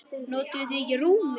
Notuðuð þið ekki rúmið?